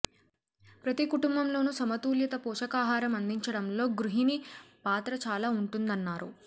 ప్రతి కుటుంబంలోనూ సమతూల్యత పోషకాహారం అందించడంలో గృహిణి పాత్ర చాలా ఉంటుందన్నారు